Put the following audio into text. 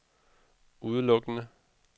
udelukkende